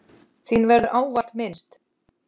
Þín verður ávallt minnst.